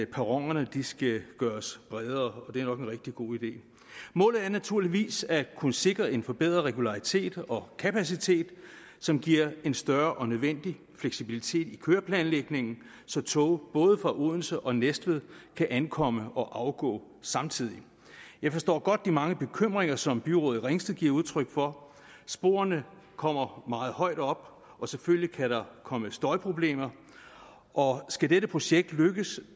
perronerne skal gøres bredere og det er nok en rigtig god idé målet er naturligvis at kunne sikre en forbedret regularitet og kapacitet som giver en større og nødvendig fleksibilitet i køreplanlægningen så tog både fra odense og næstved kan ankomme og afgå samtidig jeg forstår godt de mange bekymringer som byrådet i ringsted giver udtryk for sporene kommer meget højt op og selvfølgelig kan der komme støjproblemer og skal dette projekt lykkes